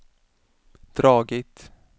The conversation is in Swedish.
dragit